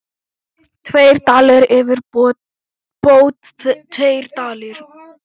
Tveir dalir yfirbót tveir dalir.